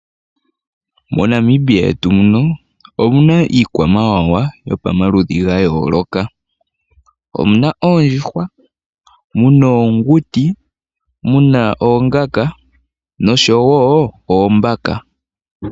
MoNamibia yetu muno omuna iikwamawawa yopamaludhi gayooloka, omuna oondjuhwa, muna oonguti, muna oongala, nosho woo oombaka.